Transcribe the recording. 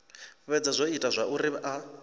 fhedza zwo ita zwauri a